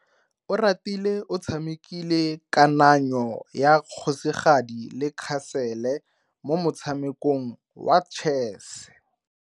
Oratile o tshamekile kananyo ya kgosigadi le khasele mo motshamekong wa chess.